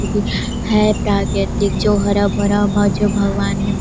अ भी है प्राक्रतिक जो है हरा-भरा भो जो भगवान--